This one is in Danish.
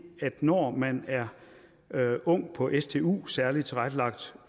at når man er ung på stu særligt tilrettelagt